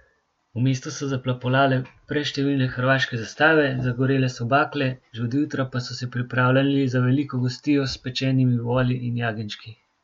V mestu so zaplapolale preštevilne hrvaške zastave, zagorele so bakle, že od jutra pa so se pripravljali za veliko gostijo s pečenimi voli in jagenjčki.